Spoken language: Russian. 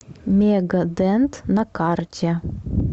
мега дент на карте